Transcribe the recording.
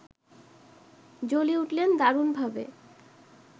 জ্বলে উঠলেন দারুণভাবে